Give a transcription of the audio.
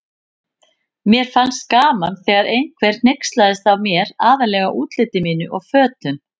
Mér fannst gaman þegar einhver hneykslaðist á mér, aðallega útliti mínu og fötum.